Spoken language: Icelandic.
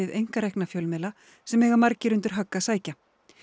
einkarekna fjölmiðla sem eiga margir undir högg að sækja